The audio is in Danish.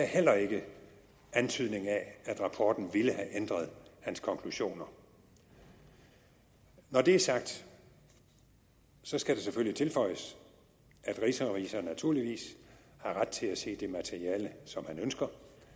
heller ikke antydning af at rapporten ville have ændret hans konklusioner når det er sagt skal det selvfølgelig tilføjes at rigsrevisor naturligvis har ret til at se det materiale som han ønsker